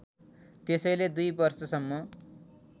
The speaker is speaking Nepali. त्यसैले दुई वर्षसम्म